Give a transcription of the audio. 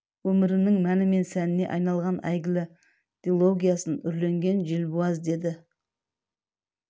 өмірінің мәні мен сәніне айналған әйгілі дилогиясын үрленген желбуаз деді